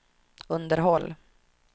underhåll